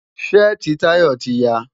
Ṣẹ́ẹ̀tì Tayo ti ya.